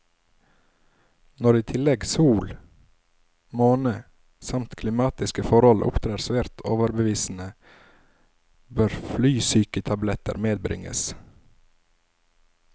Når i tillegg sol, måne, samt klimatiske forhold opptrer svært overbevisende, bør flysyketabletter medbringes.